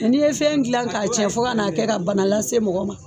ni ye fɛn jilan ka cɛn fo ka na kɛ ka bana lase mɔgɔw ma